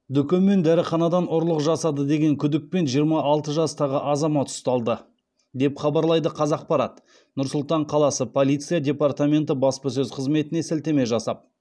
дүкен мен дәріханадан ұрлық жасады деген күдікпен жиырма алты жастағы азамат ұсталды деп хабарлайды қазақпарат нұр сұлтан қаласы полиция департаменті баспасөз қызметіне сілтеме жасап